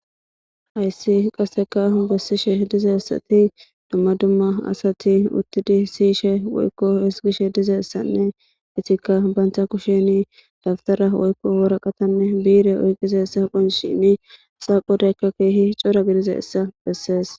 ayssi qasseka bessishe dizeessati dumma dumma asati uttidi siyishe woykko hisgishe dizeessanne itikka baynta kusheni dabtara woykko woraqatanne biire oyqizaessa qonshini xaaqhodeykka keehi cora gidize essa bessees